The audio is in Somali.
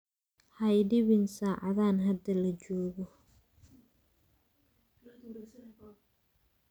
Hai dii biin sacadan hada lajogo